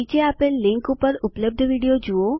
નીચે આપેલ લીનક ઉપર ઉપલબ્ધ વિડીઓ જુઓ